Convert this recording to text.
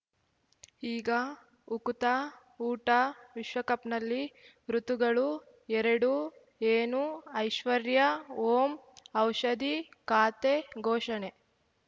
ಈಗ ಉಕುತ ಊಟ ವಿಶ್ವಕಪ್‌ನಲ್ಲಿ ಋತುಗಳು ಎರಡು ಏನು ಐಶ್ವರ್ಯಾ ಓಂ ಔಷಧಿ ಖಾತೆ ಘೋಷಣೆ